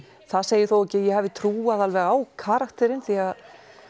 það segir þó ekki að ég hafi trúað alveg á karakterinn því að